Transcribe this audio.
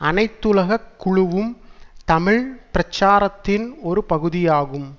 அனைத்துலக குழுவும் தமிழ் பிரச்சாரத்தின் ஒரு பகுதியாகும்